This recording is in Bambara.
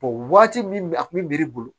waati min a kun bɛ miiri